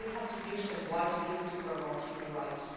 We have to use them wisely to promote human rights.